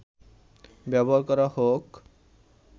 ব্যবহার করা হোক